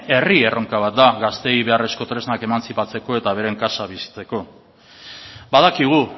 herri erronka bat da gazteei beharrezko tresnak emantzipatzeko eta beren kasa bizitzeko badakigu